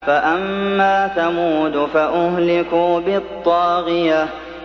فَأَمَّا ثَمُودُ فَأُهْلِكُوا بِالطَّاغِيَةِ